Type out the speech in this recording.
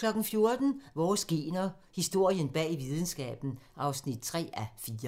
14:00: Vores gener - historien bag videnskaben (3:4)